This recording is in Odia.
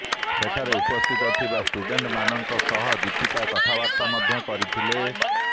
ସେଠାରେ ଉପସ୍ଥିତ ଥିବା ଷ୍ଟୁଡେଣ୍ଟମାନଙ୍କ ସହ ଦୀପିକା କଥାବାର୍ତ୍ତା ମଧ୍ୟ କରିଥିଲେ